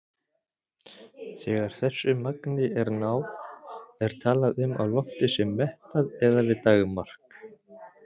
Þegar þessu magni er náð er talað um að loftið sé mettað eða við daggarmark.